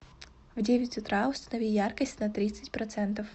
в девять утра установи яркость на тридцать процентов